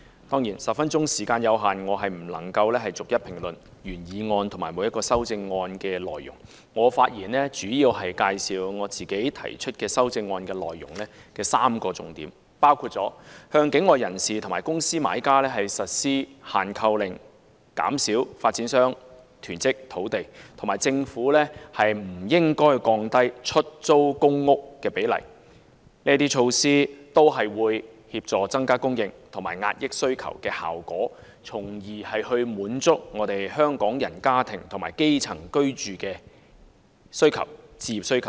當然 ，10 分鐘的發言時間有限，我不能逐一評論原議案和各項修正案的內容，我發言主要介紹由我提出的修正案的3個重點，包括向境外人士和公司買家實施"限購令"、減少發展商囤積土地，以及政府不應該降低出租公屋的比例，因為這些措施都有協助增加供應和壓抑需求的效果，從而滿足香港人家庭和基層的居住和置業需求。